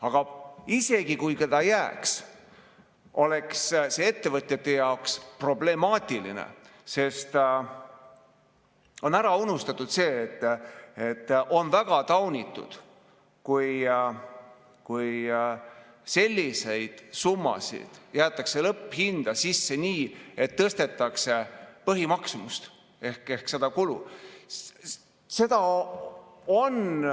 Aga isegi kui ta jääks, oleks see ettevõtjate jaoks problemaatiline, sest on ära unustatud see, et on väga taunitud, kui sellised summad jäetakse lõpphinda sisse nii, et tõstetakse põhimaksumust ehk kulu.